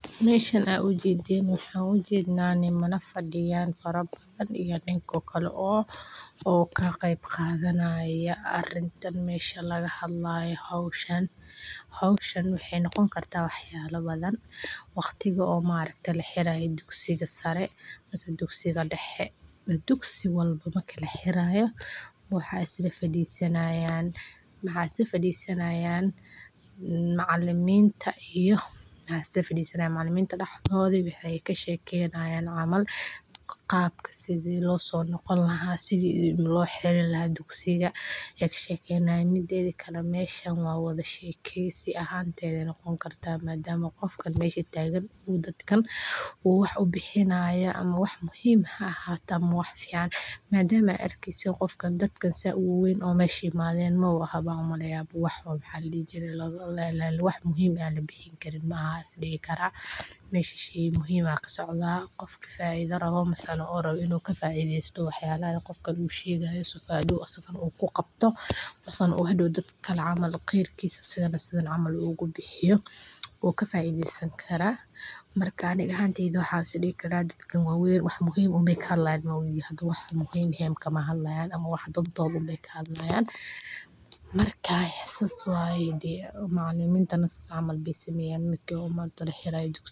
Dhallinyarada maanta waxay ka qayb qaadataa shirarka ganacsiga si firfircoon, iyagoo ku dadaala inay horumariyaan xiriirada ganacsiga, awoodooda waxbarasho, iyo xikmadda suugaanta, iyadoo ay isticmaalaan fursadaha casriga ah ee kala duwan ee lagu wada shaqeeyo, si ay u wada hadlaan shirkadaha caalamiga ah iyo ururada kala duwan, iyagoo ka shaqeeya mawduucyo badan oo ay ka mid yihiin qorshaynta mustaqbalka shirkadda, qaababka kordhinta iibka, iyo horumarinta alaabta, iyadoo ay ka qayb qaataan wada hadaladii, barnaamijyada tababaraha, iyo waliba wadahadalo qoto dheer oo ay ku falanqeeyaan dhibaatooyinka iyo fursadaha ganacsiga.